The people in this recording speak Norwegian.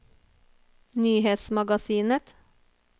nyhetsmagasinet